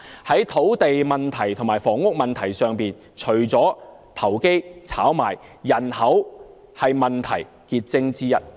在土地問題和房屋問題上，除了投機炒賣問題外，人口也是問題癥結之一。